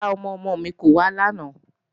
Rárá, ọmọ-ọmọ mi kò wá làná